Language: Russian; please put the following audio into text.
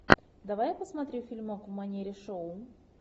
давай я посмотрю фильмок в манере шоу